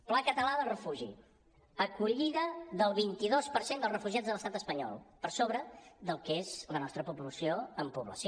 pla català del refugi acollida del vint dos per cent dels refugiats a l’estat espanyol per sobre del que és la nostra proporció en població